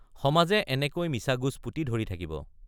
সমাজে এনেকৈ মিছা গোজ পুতি ধৰি থাকিব।